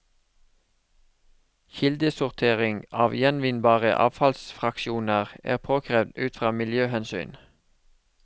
Kildesortering av gjenvinnbare avfallsfraksjoner er påkrevd ut fra miljøhensyn.